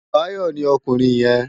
Bayo ni òkúrin yèn